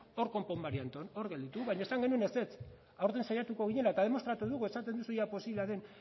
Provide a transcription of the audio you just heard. hor konpon marianton hor gelditu baina esan genuen ezetz aurten saiatuko ginela eta demostratu dugu esaten duzu ea posiblea den